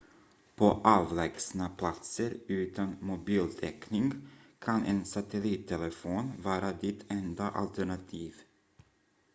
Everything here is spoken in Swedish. på avlägsna platser utan mobiltäckning kan en satellittelefon vara ditt enda alternativ